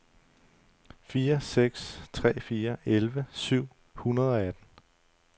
fire seks tre fire elleve syv hundrede og atten